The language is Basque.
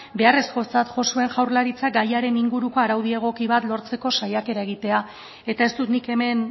beharrezkotzat jo zuen jaurlaritzak gaiaren inguruko araudi egoki bat lortzeko saiakera egitea eta ez dut nik hemen